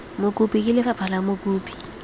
mokopi ke lefapha fa mokopi